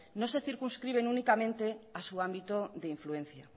no se circunscribe únicamente a su ámbito de influencia